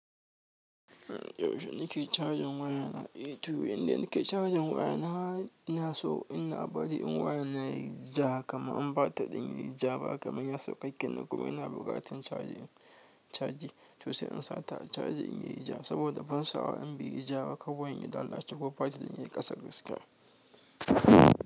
Yaushe nike cajin wayana, eh, to yanda nike cajin wayana, ina so inabbari in wayana yayi ja, kama in batir ɗin yayi ja ba, kamar ya sauka kenan kuma ina bukatan caji, caji. To sai in sa ta caji in yayi ja saboda ban so in beyi ja, kawai in yi lallace ko faɗi dan yayi ƙasar gaskiya.